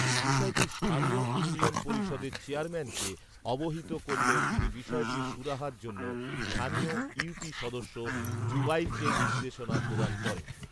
বিষয়টি স্থানীয় ইউনিয়ন পরিষদের চেয়ারম্যানকে অবহিত করলে তিনি বিষয়টি সুরাহার জন্য স্থানীয় ইউপি সদস্য যুবাইরকে নির্দেশনা প্রদান করেন